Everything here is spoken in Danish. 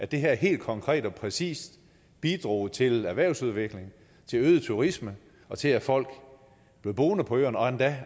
det her helt konkret og med præcision bidrog til erhvervsudvikling til øget turisme og til at folk blev boende på øerne og endda